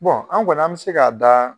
an kɔni an bɛ se k'a da.